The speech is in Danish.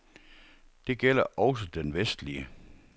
Det gælder også den vestlige.